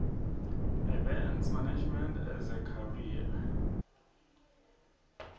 events management as a career